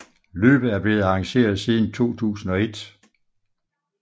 Løbet er blevet arrangeret siden 2001